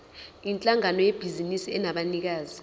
yinhlangano yebhizinisi enabanikazi